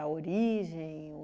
origem?